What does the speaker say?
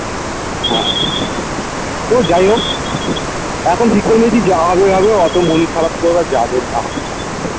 হ্যাঁ তো যাই হোক এখন কি করলে কি যা হবে এ হবে অতো মন খারাপ করা যাবে না